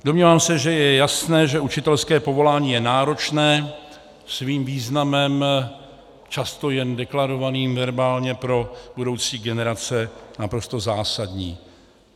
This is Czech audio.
Domnívám se, že je jasné, že učitelské povolání je náročné svým významem často jen deklarovaným verbálně, pro budoucí generace naprosto zásadní.